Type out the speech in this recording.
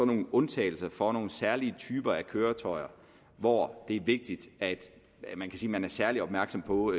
nogle undtagelser for nogle særlige typer af køretøjer hvor det er vigtigt at man er særlig opmærksom på